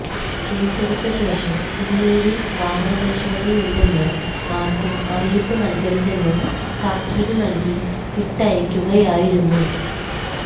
കേസെടുത്ത ശേഷം ഇനിമേലിൽ വാഹന പരിശോധനയുണ്ടെന്ന് ആർക്കും അറിയിപ്പ് നൽകരുതെന്ന് താക്കീത് നൽകി വിട്ടയക്കുകയായിരുന്നു